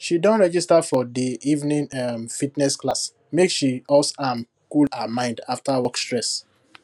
she don register for de evening um fitness class make she us am cool her mind after work stress